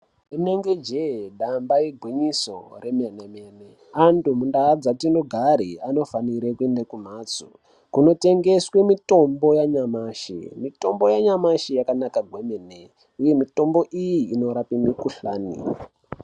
Rinenge jee, damba igwinyiso remene-mene. Antu muntaun dzatinogare anofanire kuende kumhatso kunotengeswe mitombo yanyamashi. Mitombo yanyamashi yakanaka gwemene, uye mitombo iyi inorape mikuhlane.